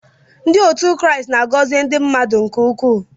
Ndị otu Kraịst na-agọzi ndị mmadụ nke ukwuu.